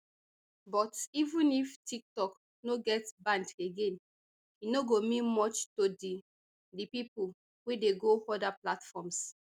but even if tiktok no get banned again e no go mean much to di di pipo wey dey go oda platforms